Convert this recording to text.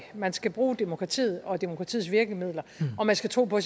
man skal bruge demokratiet og demokratiets virkemidler og man skal tro på